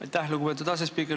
Aitäh, lugupeetud asespiiker!